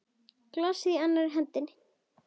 Glasið í annarri hendi.